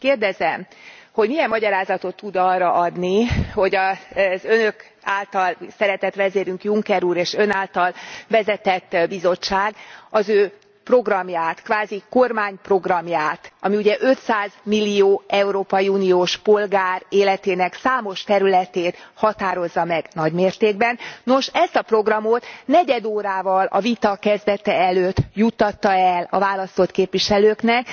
Kérdezem, hogy milyen magyarázatot tud arra adni, hogy az Önök által szeretett vezérünk, Juncker úr és Ön által vezetett Bizottság az ő programját, kvázi kormányprogramját ami ugye 500 millió Európai Uniós polgár életének számos területét határozza meg nagy mértékben nos, ezt a programot negyed órával a vita kezdete előtt juttatta el a választott képviselőknek.